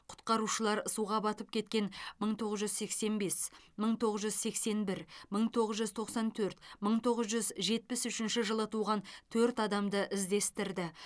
құтқарушылар суға батып кеткен мың тоғыз жүз сексен бес мың тоғыз жүз сексен бір мың тоғыз жүз тоқсан төрт мың тоғыз жүз жетпіс үшінші жылы туған төрт адамды іздестірді